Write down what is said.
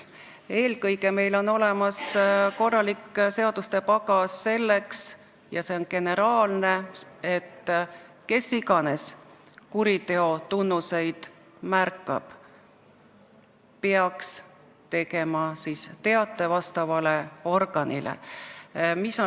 Eelkõige on meil olemas korralik seaduste pagas selleks – see on generaalne –, et kes iganes kuriteotunnuseid märkab, peaks tegema teate vastavale organile.